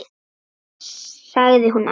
sagði hún æst.